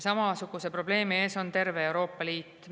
Samasuguse probleemi ees on terve Euroopa Liit.